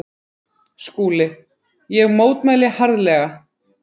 SKÚLI: Ég mótmæli harðlega.